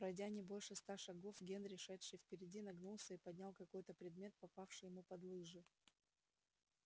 пройдя не больше ста шагов генри шедший впереди нагнулся и поднял какой то предмет попавший ему под лыжи